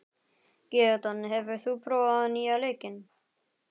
Gídeon, hefur þú prófað nýja leikinn?